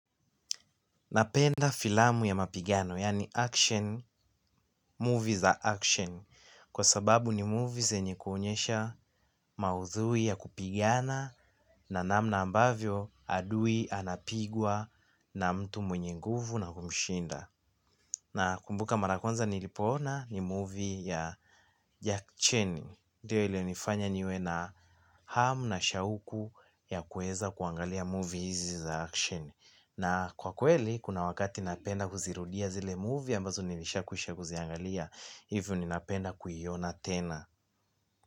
Napenda filamu ya mapigano, yaani action, movie za action, kwa sababu ni movie zenye kuonyesha maudhui ya kupigana na namna ambavyo adui anapigwa na mtu mwenye nguvu na kumshinda. Nakumbuka mara ya kwanza nilipoona hii movie ya jackie cheni ndio ilinifanya niwe na hamu na shauku ya kuweza kuangalia movie hizi za action na kwa kweli kuna wakati napenda kuzirudia zile movie ambazo nilishakwisha kuziangalia hivyo ninapenda kuiona tena.